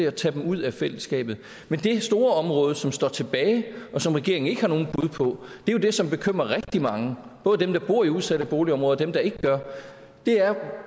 at tage dem ud af fællesskabet men det store område som står tilbage og som regeringen ikke har nogen bud på er jo det som bekymrer rigtig mange både dem der bor i udsatte boligområder og dem der ikke gør det er